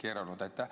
Aitäh!